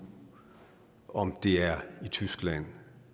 om det er i tyskland